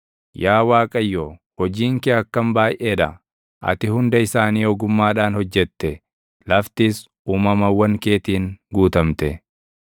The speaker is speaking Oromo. Yaa Waaqayyo, hojiin kee akkam baayʼee dha! Ati hunda isaanii ogummaadhaan hojjette; laftis uumamawwan keetiin guutamte.